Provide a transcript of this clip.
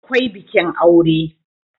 akwai bikin aure